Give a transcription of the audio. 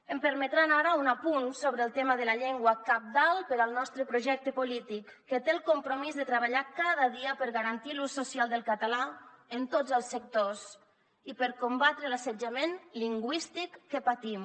em permetran ara un apunt sobre el tema de la llengua cabdal per al nostre projecte polític que té el compromís de treballar cada dia per garantir l’ús social del català en tots els sectors i per combatre l’assetjament lingüístic que patim